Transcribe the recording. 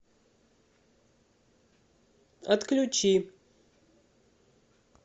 отключи